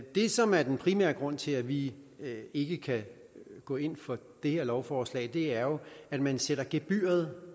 det som er den primære grund til at vi ikke kan gå ind for det her lovforslag er jo at man sætter gebyret